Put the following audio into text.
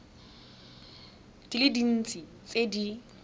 di le dintsi tse di